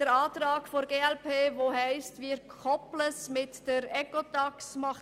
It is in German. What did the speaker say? Der Antrag der glp macht hingegen Sinn, denn er will das mit der Ecotax koppeln.